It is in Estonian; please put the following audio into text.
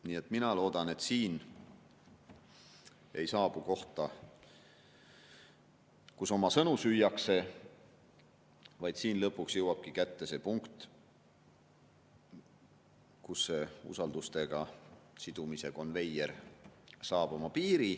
Nii et mina loodan, et siin ei jõuta kohta, kus oma sõnu süüakse, vaid lõpuks jõuabki kätte see punkt, kus see usaldusega sidumisega konveieri piir on käes.